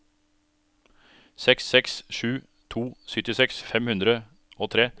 seks seks sju to syttiseks fem hundre og tre